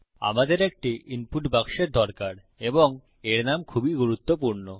আমাদের একটি ইনপুট বাক্সের দরকার এবং এর নাম খুবই গুরুত্বপূর্ণ